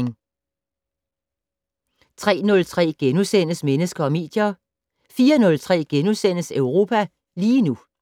03:03: Mennesker og medier * 04:03: Europa lige nu *